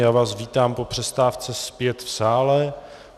Já vás vítám po přestávce zpět v sále.